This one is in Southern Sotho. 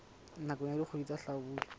nakong ya dikgwedi tsa hlabula